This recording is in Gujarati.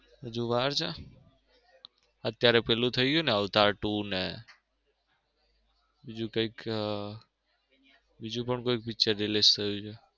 હજુ વાર છે? અત્યરે પેલું થઈ ગયું ને અવતાર two ને બીજું કૈક બીજું પણ કોઈ picture release થયું છે.